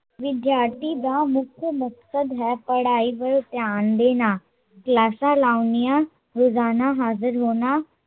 ਵਿਦਿਆਰਥੀ ਦਾ ਮੁੱਖ ਮਕਸਦ ਹੈ ਪੜਾਈ ਵੱਲ ਧਿਆਨ ਦੇਣਾ ਕਲਾਸਾਂ ਲਾਉਣੀਆਂ, ਰੋਜ਼ਾਨਾ ਹਾਜ਼ਰ ਹੋਣਾ